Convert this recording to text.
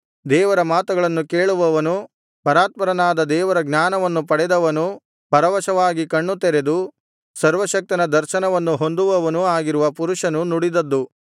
ದೇವರ ಮಾತುಗಳನ್ನು ಕೇಳುವವನೂ ಪರಾತ್ಪರನಾದ ದೇವರ ಜ್ಞಾನವನ್ನು ಪಡೆದವನೂ ಪರವಶವಾಗಿ ಕಣ್ಣುತೆರೆದು ಸರ್ವಶಕ್ತನ ದರ್ಶನವನ್ನು ಹೊಂದುವವನೂ ಆಗಿರುವ ಪುರುಷನು ನುಡಿದದ್ದು